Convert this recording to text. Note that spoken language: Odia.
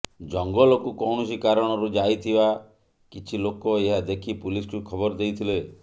ଜଙ୍ଗଲକୁ କୌଣସି କାରଣରୁ ଯାଇଥିବା କିଛି ଲୋକ ଏହା ଦେଖି ପୁଲିସକୁ ଖବର ଦେଇଥିଲେ